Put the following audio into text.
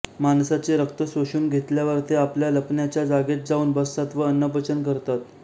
माणसाचे रक्त शोषून घेतल्यावर ते आपल्या लपण्याच्या जागेत जाऊन बसतात व अन्नपचन करतात